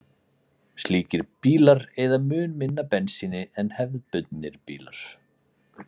Slíkir bílar eyða mun minna bensíni en hefðbundnir bílar.